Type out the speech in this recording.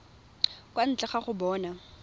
kwa ntle ga go bona